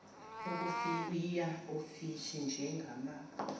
ukufuya ofishi njengama